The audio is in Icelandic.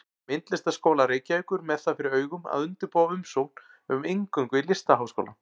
Myndlistarskóla Reykjavíkur með það fyrir augum að undirbúa umsókn um inngöngu í Listaháskólann.